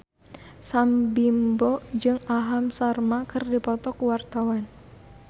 Sam Bimbo jeung Aham Sharma keur dipoto ku wartawan